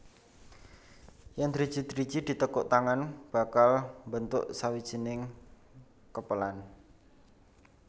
Yèn driji driji ditekuk tangan bakal mbentuk sawijining kepelan